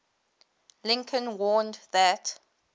lincoln warned that